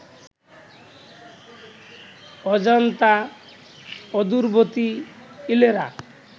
অজন্তা, অদূরবর্তী ইলোরা